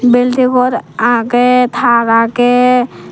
building ghor aage tar aage.